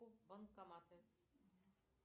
банкоматы